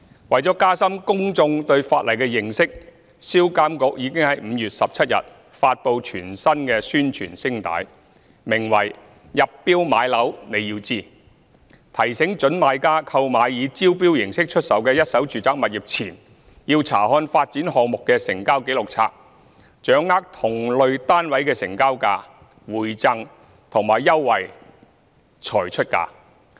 為了加深公眾對法例的認識，銷監局已於2019年5月17日發布全新宣傳聲帶，名為"入標買樓你要知"，提醒準買家購買以招標形式出售的一手住宅物業前，要查看發展項目的成交紀錄冊，掌握同類單位的成交價、回贈和優惠才出價。